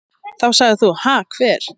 Þá sagðir þú: Ha hver?